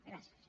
gràcies